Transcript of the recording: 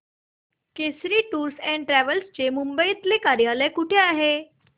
Kesari tours and travels चे मुंबई तले कार्यालय कुठे आहे